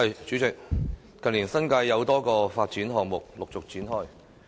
主席，近年，新界有多個發展項目陸續展開。